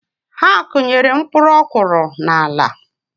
Ha akụnyere mpkuruokoro n’ala